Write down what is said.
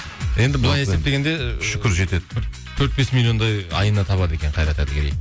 енді былай есептегенде шүкір жетеді төрт бес миллиондай айына табады екен қайрат әділгерей